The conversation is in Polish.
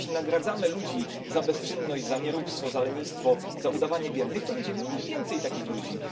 Jeśli nagradzamy ludzi za bezczynność, za nieróbstwo, za lenistwo, za udawanie biednych, to będziemy mieli więcej takich ludzi.